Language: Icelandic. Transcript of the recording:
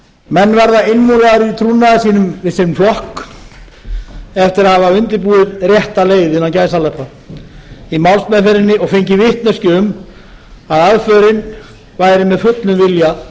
menn verða innmúraðir í trúnaði sínum við sinn flokk eftir að hafa undirbúið rétta leið innan gæsalappa og fengið vitneskju um að aðförin væri með fullum vilja